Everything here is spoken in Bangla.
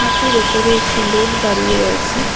হাতির ওপরে একটি লোক দাড়িয়ে রয়েছে।